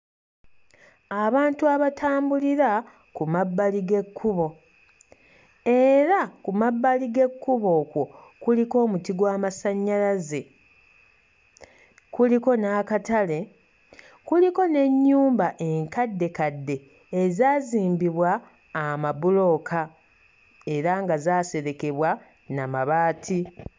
Abantu abatambulira ku mabbali g'ekkubo era ku mabbali g'ekkubo okwo kuliko omuti gw'amasannyalaze, kuliko n'akatale, kuliko n'ennyumba enkaddekadde ezaazimbibwa amabulooka era nga zaaserekebwa na mabaati.